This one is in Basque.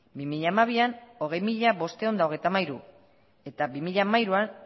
bi mila hamabian hogei mila bostehun eta hogeita hamairu eta bi mila hamairuan